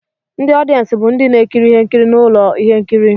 Ndị ọdịensị bụ ndị na-ekiri ihe nkiri na ụlọ ihe nkiri